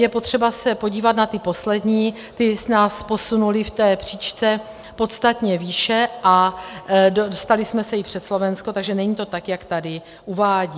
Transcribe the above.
Je potřeba se podívat na ty poslední, ty nás posunuly v té příčce podstatně výše a dostali jsme se i před Slovensko, takže to není tak, jak tady uvádí.